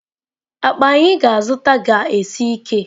Akpa anyị ga-azụta ga-esi ike.